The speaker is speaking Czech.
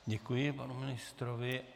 Děkuji panu ministrovi.